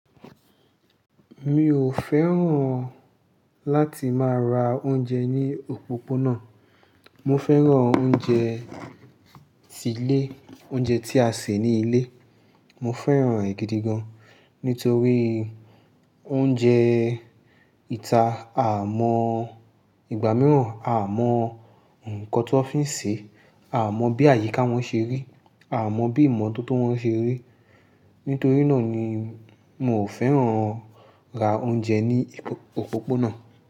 Mi ò fẹ́ràn láti máa ra oúnjẹ ní òpópónà. Mo fẹ́ràn oúnjẹ ti ilé, oúnjẹ tí a sè ní ilé. Mo fẹ́ràn rẹ̀ gidi gan, nítorí oúnjẹ ìta, a mọ ìgbà mìíràn a mọ ǹkan ti won fi ń sè e, a mọ bí àyíká wọn ṣe rí, a mọ bí ìmọ́tótó wọn ṣe rí. Nítorí náà ni mi ò fẹ́ràn ra oúnjẹ ní òpópónà.